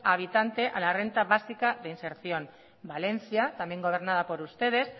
habitante a la renta de básica de inserción valencia también gobernada por ustedes